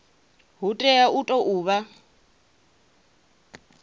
hu tea u tou vha